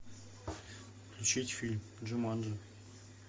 включить фильм джуманджи